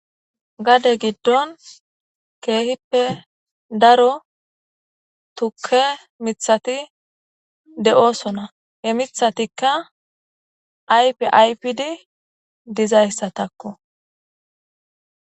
Gade giddon keehippe daro tukke mithati de7oosona he mithatikka ayfi aypidi dizayssatakko.